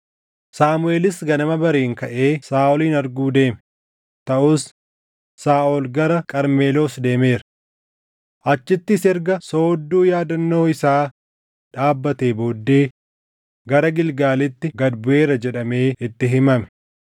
Saamuʼeelis ganama bariin kaʼee Saaʼolin arguu deeme; taʼus, “Saaʼol gara Qarmeloos deemeera. Achittis erga soodduu yaadannoo isaa dhaabbatee booddee gara Gilgaalitti gad buʼeera” jedhamee itti himame.